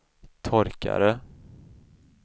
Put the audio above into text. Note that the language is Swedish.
torkare